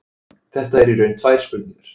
Þetta eru í raun tvær spurningar.